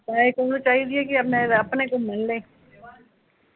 ਓਹਨੂ ਚਾਈਦੀ ਐ ਕਿ ਮੈਂ ਅਪਣੇ ਕੋਲੋਂ ਲੈਲੇ